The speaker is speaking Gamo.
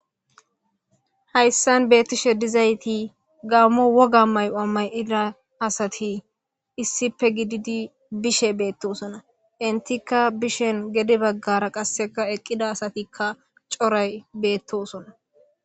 Haysan betishe dizayti Gamo woga mayo mayida asati issipe gididi bishe betosona entika bishon gede bagara qaseka eqida asatika coray betosona.